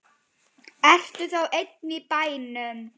Ertu þá ein í bænum?